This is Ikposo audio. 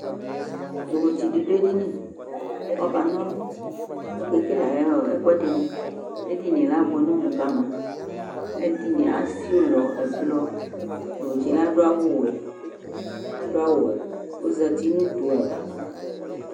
Yovotsɩ dɩ dʋ edini ,Ɔkan'ɔlʋ okekele ay'ɔ ɛkʋɛdɩnɩ ,edinie abʋɛ n'ɔmʋ ka ma ,ɛdɩnɩ esi ʋlɔ ʋblɔ Ɔsɩɛ adʋ awʋwɛ ozati n'utu ava